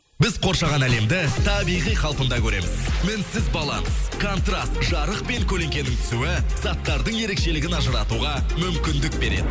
біз қоршаған әлемді табиғи қалпында көреміз мінсіз баланс контраст жарық пен көлеңкенің түсуі заттардың ерекшелігін ажыратуға мүмкіндік береді